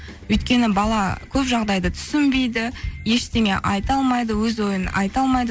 өйткені бала көп жағдайды түсінбейді ештеңе айта алмайды өз ойын айта алмайды